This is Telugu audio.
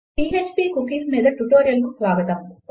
పీఎచ్పీ కుకీస్ మీద ఈ ట్యుటోరియల్కు స్వాగతం